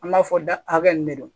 An b'a fɔ da hakɛ nin de don